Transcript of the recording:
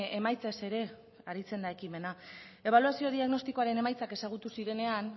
emaitzez ere aritzen da ekimena ebaluazio diagnostikoaren emaitzak ezagutu zirenean